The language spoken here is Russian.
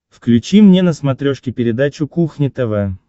включи мне на смотрешке передачу кухня тв